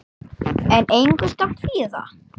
En engu skal kvíða.